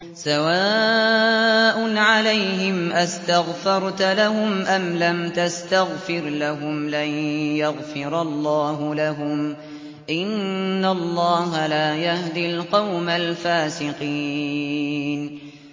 سَوَاءٌ عَلَيْهِمْ أَسْتَغْفَرْتَ لَهُمْ أَمْ لَمْ تَسْتَغْفِرْ لَهُمْ لَن يَغْفِرَ اللَّهُ لَهُمْ ۚ إِنَّ اللَّهَ لَا يَهْدِي الْقَوْمَ الْفَاسِقِينَ